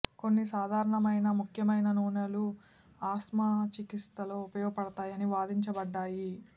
కొన్ని సాధారణమైన ముఖ్యమైన నూనెలు ఆస్త్మా చికిత్సలో ఉపయోగపడతాయని వాదించబడ్డాయి